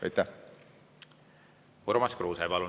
Urmas Kruuse, palun!